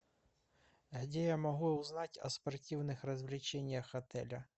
а где я могу узнать о спортивных развлечениях отеля